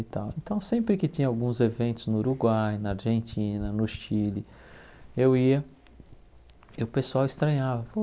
E tal então sempre que tinha alguns eventos no Uruguai, na Argentina, no Chile, eu ia e o pessoal estranhava.